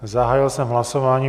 Zahájil jsem hlasování.